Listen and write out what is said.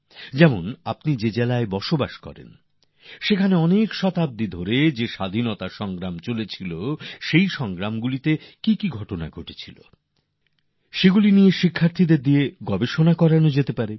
যেমন আপনি যে জেলায় আছেন সেখানে শতাব্দীরও বেশি সময় ধরে চলা এই স্বাধীনতার সংগ্রামে কি কি ঘটনা ঘটেছে এই বিষয়ে শিক্ষার্থীদের দিয়ে গবেষনা করানো যেতে পারে